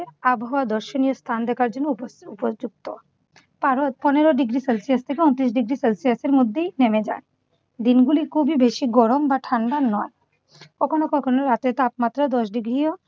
আবহাওয়া দর্শনীয় স্থান দেখার জন্য উপযু উপযুক্ত। কারণ পনেরো ডিগ্রি সেলসিয়াস ঊনত্রিশ ডিগ্রি সেলসিয়াসের মধ্যেই নেমে যায়। দিনগুলি খুবই বেশি গরম বা ঠান্ডা নয়। কখনো কখনো রাতের তাপমাত্রা দশ ডিগ্রিও